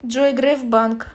джой греф банк